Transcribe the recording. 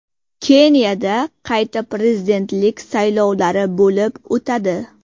Keniyada qayta prezidentlik saylovlari bo‘lib o‘tadi.